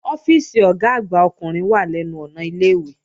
Ọ́fíìsì Ọ̀gá àgbà ọkùnrin wà lẹ́nu ọ̀nà ilé-ìwé